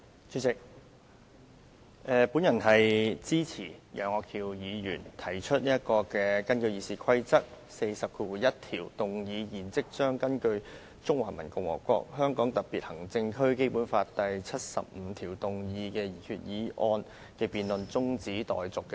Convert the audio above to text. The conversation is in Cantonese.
主席，我支持楊岳橋議員根據《議事規則》第401條，動議"現即將根據《中華人民共和國香港特別行政區基本法》第七十五條動議的擬議決議案的辯論中止待續"的議案。